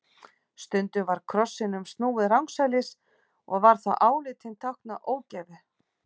Stundum var krossinum snúið rangsælis og var þá álitinn tákna ógæfu.